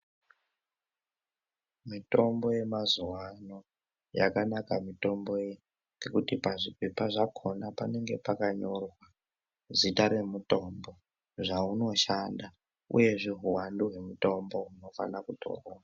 Mitombo yemazuvaano, yakanaka mitombo iyi ngekuti pazvipepa zvakona panenge pakanyorwa zita remutombo, zvaunoshanda uyezve huwandu hwemutombo unofana kutorwa.